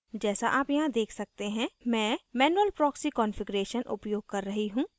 जैसा आप यहाँ देख सकते हैं मैं manual proxy configuration उपयोग कर रही हूँ